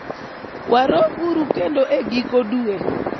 warom uru kendo e giko dwe